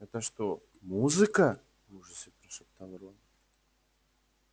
это что музыка в ужасе прошептал рон